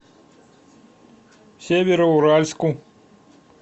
североуральску